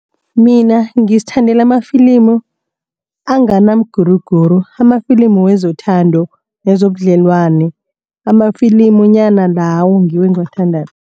Mina ngizithandela amafilimu angana mguruguru. Amafilimu wezothando wezobudlelwane amafilimunyana lawo ngiwo engiwathandako.